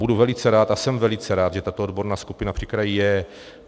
Budu velice rád a jsem velice rád, že tato odborná skupina při kraji je.